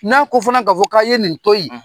N'a ko fana ka fɔ k'a ye nin to yi